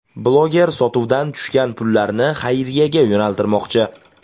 Bloger sotuvdan tushgan pullarni xayriyaga yo‘naltirmoqchi.